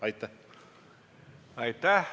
Aitäh!